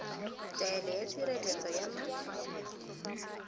taelo ya tshireletso ya ma